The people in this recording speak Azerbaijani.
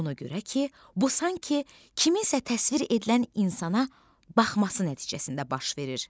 Ona görə ki, bu sanki kiminsə təsvir edilən insana baxması nəticəsində baş verir.